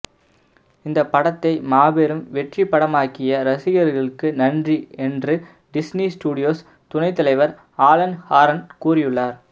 இந்தப் படத்தை மாபெறும் பெற்றிப்படமாக்கிய ரசிகர்களுக்கு நன்றி என்று டிஸ்னி ஸ்டூடியோஸ் துணை தலைவர் ஆலன் ஹார்ன் கூறியுள்ளார்